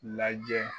Lajɛ